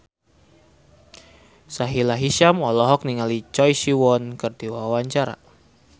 Sahila Hisyam olohok ningali Choi Siwon keur diwawancara